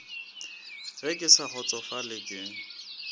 ge ke sa kgotsofatše ke